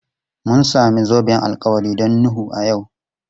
Mun samu zoben alkawari don Nuhu a yau.